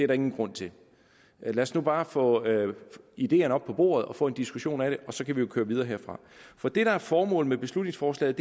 der ingen grund til lad os nu bare få ideerne op på bordet og få en diskussion af det og så kan vi jo køre videre derfra for det der er formålet med beslutningsforslaget